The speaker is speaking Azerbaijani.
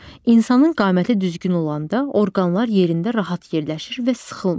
İnsanın qaməti düzgün olanda orqanlar yerində rahat yerləşir və sıxılmır.